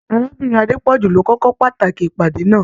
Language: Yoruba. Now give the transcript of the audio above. Arábìnrin Adepoju ló kọ̀ kókó pàtàkì ìpàdé náà.